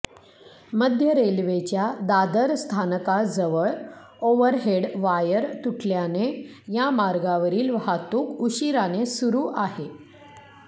मध्य रेल्वेच्या दादर स्थानकाजवळ ओव्हरहेड वायर तुटल्याने या मार्गावरील वाहतूक उशिराने सुरु आहे